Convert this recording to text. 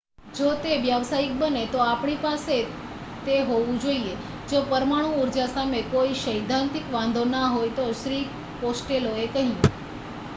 """જો તે વ્યવસાયિક બને તો આપણી પાસે તે હોવું જોઈએ. જો પરમાણુ ઉર્જા સામે કોઈ સૈદ્ધાંતિક વાંધો ના હોય તો" શ્રી કોસ્ટેલોએ કહ્યું.